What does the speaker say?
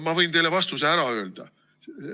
Ma võin teile vastuse ära öelda.